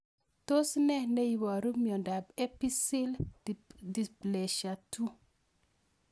Tos nee neiparu miondop epiphyseal dysplasia 2